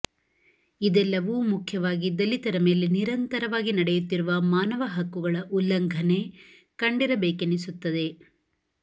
ಇದೆಲ್ಲವೂ ಮುಖ್ಯವಾಗಿ ದಲಿತರ ಮೇಲೆ ನಿರಂತರವಾಗಿ ನಡೆಯುತ್ತಿರುವ ಮಾನವ ಹಕ್ಕುಗಳ ಉಲ್ಲಂಘನೆ ಕಂಡಿರಬೇಕೆನಿಸುತ್ತದೆ